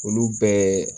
Olu bɛɛ